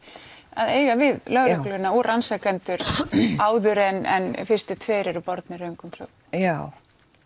að eiga við lögregluna og rannsakendur áður en fyrstu tvær eru bornir röngum sökum já